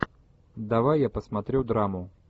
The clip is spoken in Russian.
давай я посмотрю драму